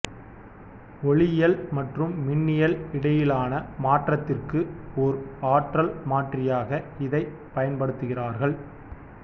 ஒலியியல் மற்றும் மின்னியல் இடையிலான மாற்றத்திற்கு ஓர் ஆற்றல் மாற்றியாக இதைப் பயன்படுத்துகிறார்கள்